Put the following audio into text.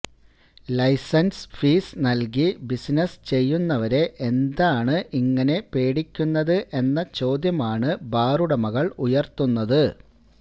licence fees നൽകി business ചെയ്യുന്നവരെ എന്താണ് ഇങ്ങനെ പേടിക്കുന്നത് എന്ന ചോദ്യം ആണ് ബാറുടമകൾ ഉർത്തുന്നത്